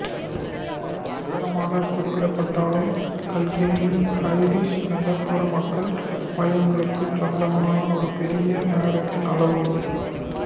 ஒரு நகரமாகக் குறிப்பிடப்பட்டாலும் கில்கென்னி ஐரிஷ் நகர்ப்புற மக்கள் மையங்களுக்குச் சொந்தமான ஒரு பெரிய நகரத்தின் அளவு